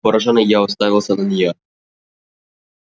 поражённый я уставился на неё